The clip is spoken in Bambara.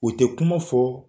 U tɛ kuma fɔ